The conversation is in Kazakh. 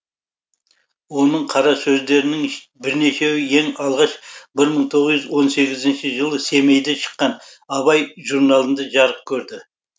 оның қара сөздерінің бірнешеуі ең алғаш бір мың тоғыз жүз он сегізінші жылы семейде шыққан абай журналында жарық көрді